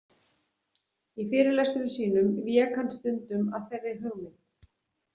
Í fyrirlestrum sínum vék hann stundum að þeirri hugmynd.